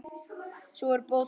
Sú er bót á klæði.